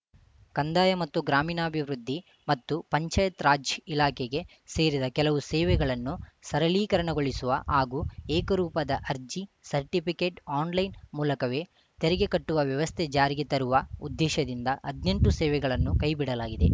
ಕಂದಾಯ ಮತ್ತು ಗ್ರಾಮೀಣಾಭಿವೃದ್ದಿ ಮತ್ತು ಪಂಚಾಯತ್‌ರಾಜ್‌ ಇಲಾಖೆಗೆ ಸೇರಿದ ಕೆಲವು ಸೇವೆಗಳನ್ನು ಸರಳೀಕರಣಗೊಳಿಸುವ ಹಾಗೂ ಏಕರೂಪದ ಅರ್ಜಿ ಸರ್ಟಿಫಿಕೆಟ್‌ ಆನ್‌ಲೈನ್‌ ಮೂಲಕವೇ ತೆರಿಗೆ ಕಟ್ಟುವ ವ್ಯವಸ್ಥೆ ಜಾರಿಗೆ ತರುವ ಉದ್ದೇಶದಿಂದ ಹದ್ನೆಂಟು ಸೇವೆಗಳನ್ನು ಕೈ ಬಿಡಲಾಗಿದೆ